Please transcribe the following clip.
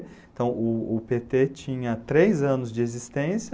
Então, o o pê tê tinha três anos de existência,